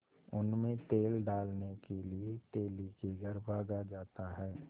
उनमें तेल डालने के लिए तेली के घर भागा जाता है